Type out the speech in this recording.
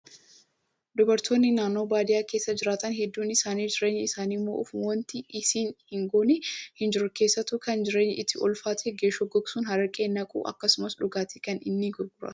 Dubartoonni naannoo baadiyyaa keessa jiraatan hedduun isaanii jireenya isaanii mo'uuf wanti isaan hin goone hin jiru. Keessattuu kan jireenyi itti ulfaate geeshoo gogsuun araqee naqu akkasumas dhugaatii kana ni gurguratu.